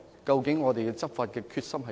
究竟我們執法的決心如何？